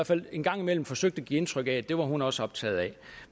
fald en gang imellem forsøgt at give indtryk af at det var hun også optaget af